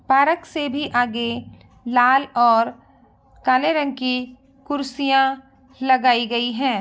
Park से भी आगे लाल और काले रंग की कुर्सियां लगाई गई है।